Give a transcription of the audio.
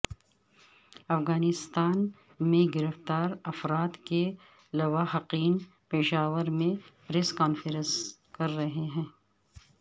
افغانستان میں گرفتار افراد کے لواحقین پشاور میں پریس کانفرنس کر رہے ہیں